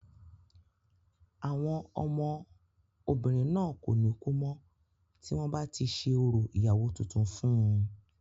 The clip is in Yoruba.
àwọn ọmọ obìnrin náà kò ní kú mọ́ tí wọ́n bá ti ṣe orò ìyàwó tuntun fún un